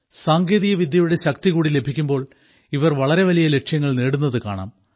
സാങ്കേതികവിദ്യയുടെ ശക്തി കൂടി ലഭിക്കുമ്പോൾ ഇവർ വളരെ വലിയ ലക്ഷ്യങ്ങൾ നേടുന്നത് കാണാം